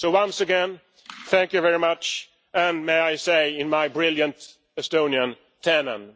So once again, thank you very much. And may I say in my brilliant Estonian tänan'